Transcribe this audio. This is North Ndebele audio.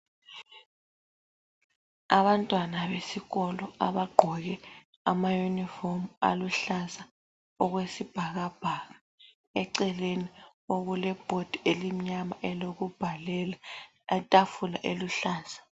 Abantwana besikolo abagqoke ama uniform aluhlaza okwesibhakabhaka. Eceleni okule bhodi elimnyama elokubhalela, itafula eluhlaza.